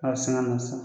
A si ŋa na sa